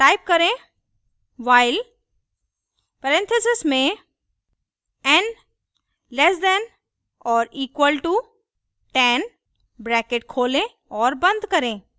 type करें while parenthesis में n less than or equal to 10 bracket खोलें और बंद करें